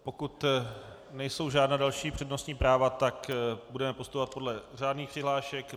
Pokud nejsou žádná další přednostní práva, tak budeme postupovat podle řádných přihlášek.